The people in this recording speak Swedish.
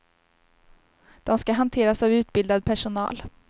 De ska hanteras av utbildad personal.